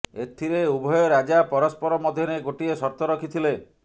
ଏଥିରେ ଉଭୟ ରାଜା ପରସ୍ପର ମଧ୍ୟରେ ଗୋଟିଏ ସର୍ତ୍ତ ରଖିଥିଲେ